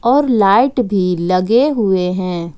और लाइट भी लगे हुए हैं।